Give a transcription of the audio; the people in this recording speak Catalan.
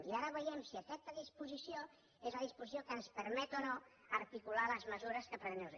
i ara veiem si aquesta disposició és la disposició que ens permet o no articular les mesures que prendrem